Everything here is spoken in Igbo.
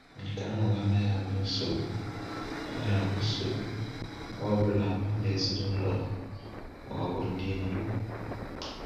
Nke ahụ anaghị abụ nsogbu anaghị abụ nsogbu mgbe ọ bụla m, ezinụlọ m, ma ọ bụ ndị enyi m.